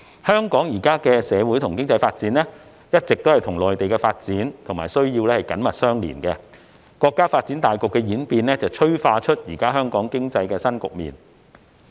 香港現時的社會和經濟發展一直與內地的發展和需要緊密相連，國家發展大局的演變催化出香港經濟的新局面。